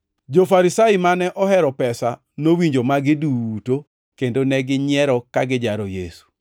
Jo-Farisai mane ohero pesa nowinjo magi duto kendo neginyiero kagijaro Yesu.